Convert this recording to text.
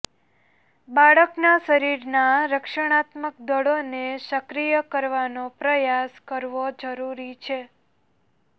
બાળકના શરીરના રક્ષણાત્મક દળોને સક્રિય કરવાનો પ્રયાસ કરવો જરૂરી છે